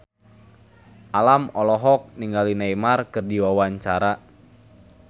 Alam olohok ningali Neymar keur diwawancara